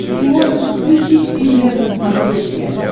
ты можешь включить премьер на смотрешке